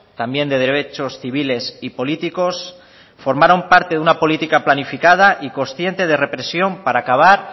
también de derechos civiles y políticos formaron parte de una política planificada y consciente de represión para acabar